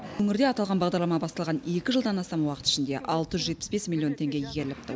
өңірде аталған бағдарлама басталған екі жылдан астам уақыт ішінде алты жүз жетпіс бес миллион теңге игеріліпті